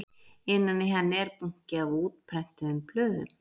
Innan í henni er bunki af útprentuðum blöðum